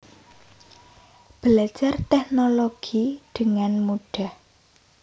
Belajar Teknologi dengan Mudah